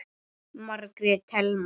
Margrét Thelma.